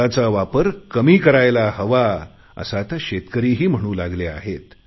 खताचा वापर कमी करायला हवा असे आता शेतकरीही म्हणून लागले आहेत